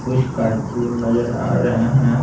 कुछ कार्टून नजर आ रहा है।